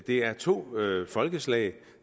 det er to folkeslag